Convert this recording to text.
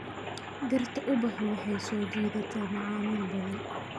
Dhirta ubaxu waxay soo jiidataa macaamiil badan.